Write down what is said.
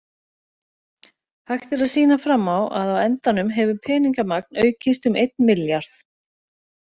Hægt er að sýna fram á að á endanum hefur peningamagn aukist um einn milljarð.